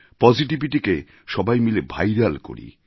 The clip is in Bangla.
Positivityকে সবাই মিলে ভাইরাল করি